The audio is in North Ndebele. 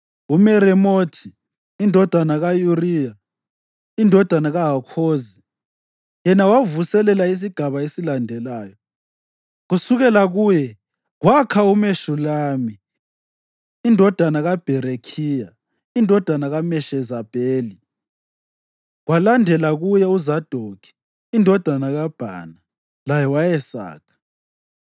UMeremothi indodana ka-Uriya, indodana kaHakhozi, yena wavuselela isigaba esilandelayo. Kusukela kuye kwakha uMeshulami indodana kaBherekhiya, indodana kaMeshezabeli, kwalandela kuye uZadokhi indodana kaBhana laye wayesakha.